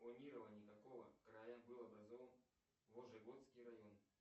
в планировании какого края был образован вожегодский район